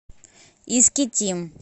искитим